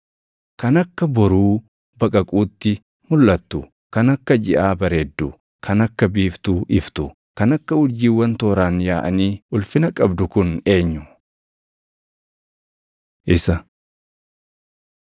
Kan akka boruu baqaquutti mulʼattu, kan akka jiʼaa bareeddu, kan akka biiftuu iftu, kan akka urjiiwwan tooraan yaaʼanii ulfina qabdu kun eenyu? Isa